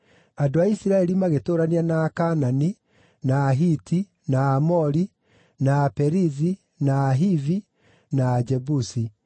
Andũ a Isiraeli magĩtũũrania na Akaanani, na Ahiti, na Aamori, na Aperizi, na Ahivi, na Ajebusi.